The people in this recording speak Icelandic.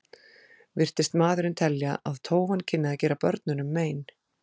Virtist maðurinn telja að tófan kynni að gera börnunum mein.